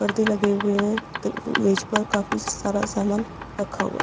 परदे लगे हुए हैं मेज पर काफी सारा समान रखा हुआ है।